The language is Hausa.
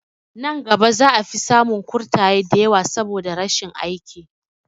Nan gaba za a fi samun kurtaye da yawa saboda rashin aiki